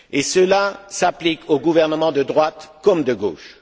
Cela s'applique aux gouvernements de droite comme de gauche.